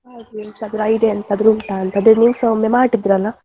ಹಾಗೆ ಎಂತಾದ್ರೂ idea ಉಂಟಾ ಅಂತ ಅದೇ ನೀವು ಸಹ ಒಮ್ಮೆ ಮಾಡಿದ್ರಲ್ಲ.